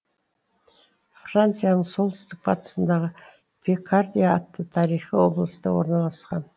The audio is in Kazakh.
францияның солтүстік батысындағы пикардия атты тарихи облыста орналасқан